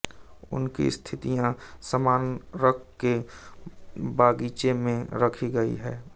उनकी अस्थियां स्मारक के बागीचे में रखी गई हैं